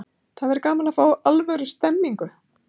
Það væri gaman að fá alvöru stemningu.